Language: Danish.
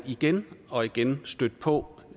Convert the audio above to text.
igen og igen stødt på